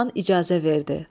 Xan icazə verdi.